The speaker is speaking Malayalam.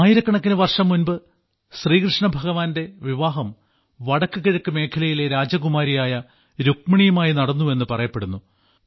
ആയിരക്കണക്കിനു വർഷം മുൻപ് ശ്രീകൃഷ്ണഭഗവാന്റെ വിവാഹം വടക്കു കിഴക്ക് മേഖലയിലെ രാജകുമാരിയായ രുക്മിണിയുമായി നടന്നുവെന്ന് പറയപ്പെടുന്നു